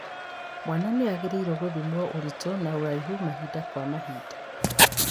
Mwana nĩagĩrĩirwo nĩ gũthimwo ũritũ na ũraihu mahinda kwa mahinda